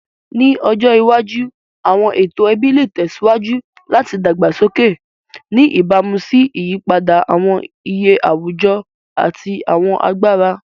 Ni ọjọ iwaju, awọn eto ẹbi le tẹsiwaju lati dagbasoke, ni ibamu si iyipada awọn iye awujọ ati awọn agbara.